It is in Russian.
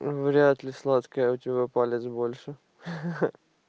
вряд ли сладкая у тебя палец больше ха ха